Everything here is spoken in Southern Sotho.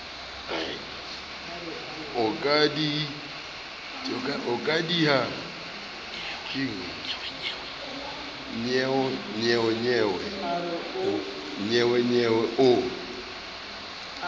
o ka diha nnyeonyeo o